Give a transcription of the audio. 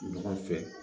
Ɲɔgɔn fɛ